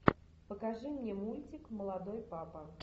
покажи мне мультик молодой папа